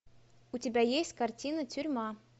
у тебя есть картина тюрьма